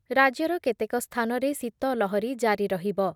ରାଜ୍ୟର କେତେକ ସ୍ଥାନରେ ଶୀତ ଲହରୀ ଜାରି ରହିବ ।